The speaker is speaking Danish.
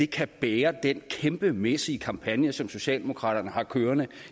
kan bære den kæmpemæssige kampagne som socialdemokraterne har kørende